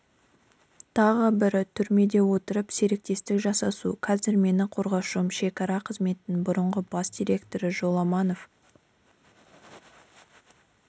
тағы бірі түрмеде отырып серіктестік жасасу қазір менің қорғалушым шекара қызметінің бұрынғы бас директоры жоламанов